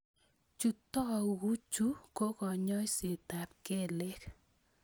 Chutokchu ko kanyoisetab kelek